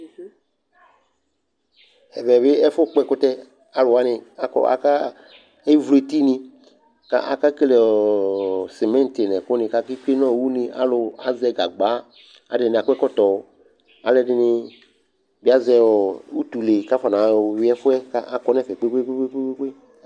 Ɛvɛ bɩ ɛfʋkpɔ ɛkʋtɛ Alʋ wanɩ akɔ aka evlu etinɩ kʋ akekele ɔ sɩmɩntɩ nʋ ɛkʋnɩ kʋ aketsue nʋ une Alʋ azɛ gagba Alʋɛdɩnɩ akɔ ɛkɔtɔ Alʋɛdɩnɩ bɩ azɛ ɔ utule kʋ afɔnayɔ yʋɩ ɛfʋ yɛ kʋ akɔ nʋ ɛfɛ kpe-kpe-kpe